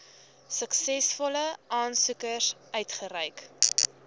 suksesvolle aansoekers uitgereik